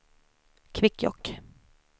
Kvikkjokk